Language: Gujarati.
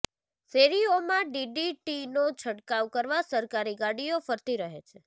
શેરીઓમાં ડીડીટીનો છંટકાવ કરવા સરકારી ગાડીઓ ફરતી રહે છે